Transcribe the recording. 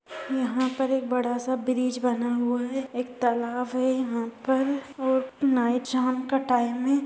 यहाँ पर एक बड़ा सा ब्रिज बना हुआ है एक तालाब है यहाँ पर और नाईट शाम का टाइम है।